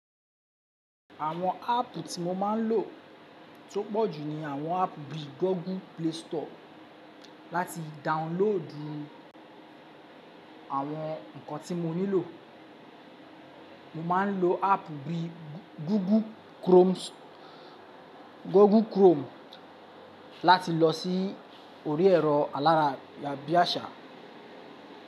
Àwọn áàpù tí mo máa ń lò tó pọ̀jù ni àwọn áàpù bí i Google Play Store láti download àwọn nǹkan tí mo nílò. Mo máa ń lo áàpù bí i Google Chrome láti lọ sí orí ẹ̀rọ alára bíaṣà.